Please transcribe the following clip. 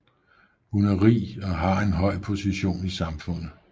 Hun er rig og har en høj position i samfundet